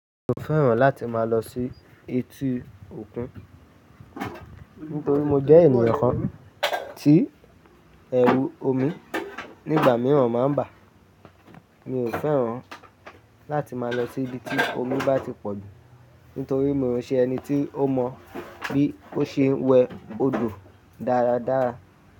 Mi ò fẹ́ràn láti máa lọ sí etí òkun nítorí mo jẹ́ ènìyàn kan tí ẹrù omi nígbà míràn má ń bà. Mi ò fẹ́ràn láti máa lọ sí ibi tí omi bá ti pọ̀ jù nítorí mi ò ṣe ẹni tí ó mọ bí ó ṣe ń wẹ odò dáradára.